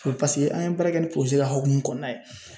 an ye baara kɛ ni ka hukumu kɔnɔna ye